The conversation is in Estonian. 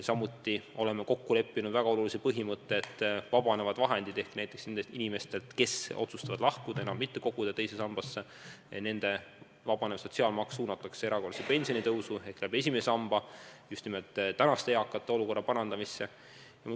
Ka oleme kokku leppinud väga olulise põhimõtte, et kui inimesed otsustavad enam mitte koguda teise sambasse, siis saab tänu sellele vabaneva sotsiaalmaksuraha suunata erakordsesse pensionitõusu ehk esimese samba kaudu praeguste pensionäride olukorra parandamisse.